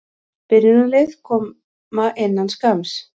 Byrjunarlið koma innan skamms.